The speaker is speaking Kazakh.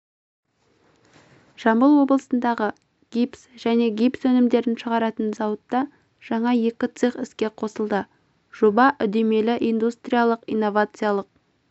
жамбыл облысындағы гипс және гипс өнімдерін шығаратын зауытта жаңа екі цех іске қосылды жоба үдемелі индустриялық-инновациялық